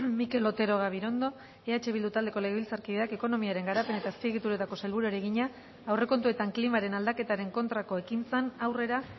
mikel otero gabirondo eh bildu taldeko legebiltzarkideak ekonomiaren garapen eta azpiegituretako sailburuari egina aurrekontuetan klimaren aldaketaren kontrako ekintzan aurrera